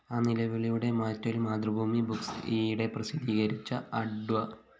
ആ നിലവിളിയുടെ മാറ്റൊലി മാതൃഭൂമി ബുക്സ്‌ ഈയിടെ പ്രസിദ്ധീകരിച്ച അഡ്വ